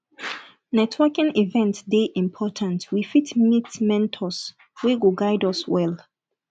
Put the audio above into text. networking event dey important we fit meet mentors wey go guide us well